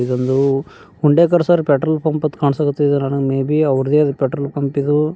ಇದೊಂದು Undekar sir petrol pump ಅಂತ್ ಕಾಣ್ಸಕೆ ಹತೈತಿ ಅಣ್ಣ ಮೇ ಬಿ ಅವ್ರುದೆ ಇದು ಪೆಟ್ರೊಲ್ ಪಂಪ್ ಇದು.